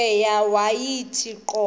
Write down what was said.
cweya yawathi qobo